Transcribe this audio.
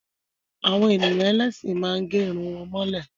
Àwọn ènìyàn ẹlẹ́sìn má ń gẹ́ Irun wọn mọ́lẹ̀